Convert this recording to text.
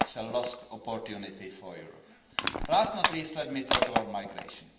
it is a lost opportunity for Europe. Last, but not least, let me talk about migration.